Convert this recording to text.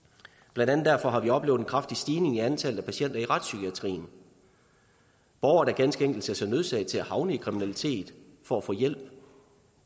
blandt andet derfor har vi oplevet en kraftig stigning i antallet af patienter i retspsykiatrien borgere der ganske enkelt ser sig nødsaget til at havne i kriminalitet for at få hjælp